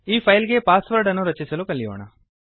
ಈ ಫೈಲ್ ಗೆ password ಅನ್ನು ರಚಿಸಲು ಕಲಿಯೋಣ